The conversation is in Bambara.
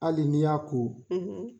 Hali n y'a ko;